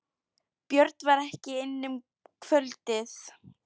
Björn var ekki inni um kvöldið.